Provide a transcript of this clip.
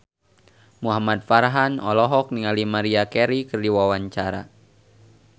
Muhamad Farhan olohok ningali Maria Carey keur diwawancara